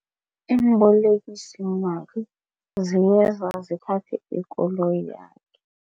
Iimboleko ziyeza zithathe ikoloyakhe.